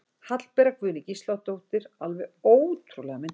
Hallbera Guðný Gísladóttir er alveg ótrúlega myndarleg